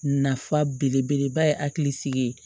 Nafa belebeleba ye hakilisigi ye